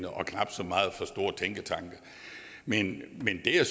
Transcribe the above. og knap så meget fra store tænketanke men